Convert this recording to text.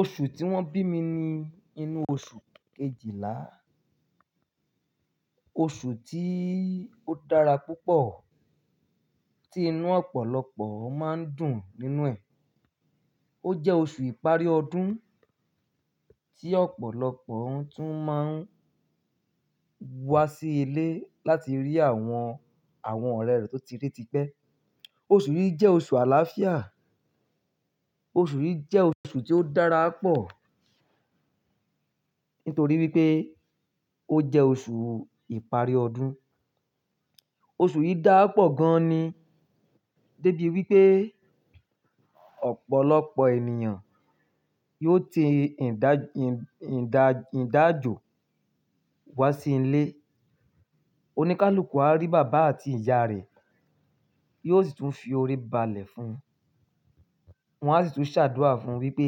Oṣù tí wọ́n bí mi ni inú oṣù kejìlá. Oṣù tí ó dára púpọ̀, tí inú ọ̀pọ̀lọpọ̀ máa ń dùn nínú ẹ̀. Ó jẹ́ oṣù ìparí ọdún tí ọ̀pọ̀lọpọ̀ tún máa ń wá sí ilé láti rí àwọn, àwọn ọ̀rẹ́ rẹ̀ tó ti rí ti pẹ́. Oṣù yìí jẹ́ oṣù àlàáfíà. Oṣù yìí jẹ́ oṣù tí ó dára pọ̀ nítorí wípé ó jẹ́ oṣù ìparí ọdún. Oṣù yìí dáa pọ̀ gan ní, débi wípé ọ̀pọ̀lọpọ̀ ènìyàn yóò ti ìdá-ìdá-ìdájò wá sí ilé. Oníkálukú á rí bàbá àti ìyá rẹ̀, yóò sì tún fi orí balẹ̀ fún un. Wọn á sì tún ṣàdúà fún wípé,